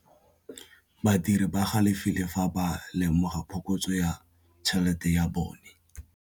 Badiri ba galefile fa ba lemoga phokotsô ya tšhelête ya bone.